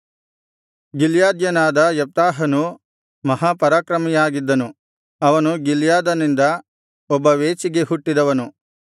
ಗಿಲ್ಯಾದ್ಯನಾದ ಯೆಪ್ತಾಹನು ಮಹಾಪರಾಕ್ರಮಿಯಾಗಿದ್ದನು ಅವನು ಗಿಲ್ಯಾದನಿಂದ ಒಬ್ಬ ವೇಶ್ಯೆಗೆ ಹುಟ್ಟಿದವನು